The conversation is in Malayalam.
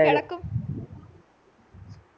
കെടക്കും